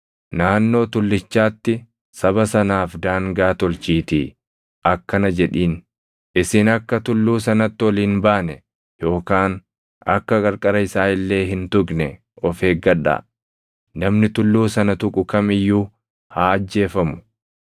Naannoo tullichaatti saba sanaaf daangaa tolchiitii akkana jedhiin; ‘Isin akka tulluu sanatti ol hin baane yookaan akka qarqara isaa illee hin tuqne of eeggadhaa. Namni tulluu sana tuqu kam iyyuu haa ajjeefamu.